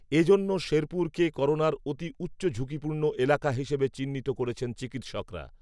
এ জন্য শেরপুরকে করোনার অতি উচ্চঝুঁকিপূর্ণ এলাকা হিসেবে চিহ্নিত করছেন চিকিৎসকরা